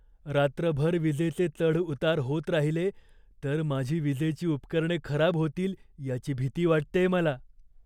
रात्रभर विजेचे चढ उतार होत राहिले तर माझी विजेची उपकरणे खराब होतील याची भीती वाटतेय मला.